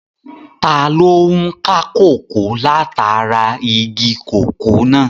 Taló n ká kòkó látara igi kòkó náà?